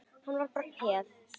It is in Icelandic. Hann var bara peð.